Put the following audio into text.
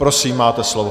Prosím, máte slovo.